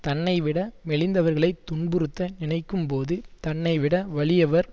தன்னைவிட மெலிந்தவர்களைத் துன்புறுத்த நினைக்கும் போது தன்னைவிட வலியவர்